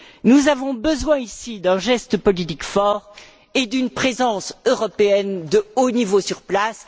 Nous avons besoin ici d'un geste politique fort et d'une présence européenne de haut niveau sur place.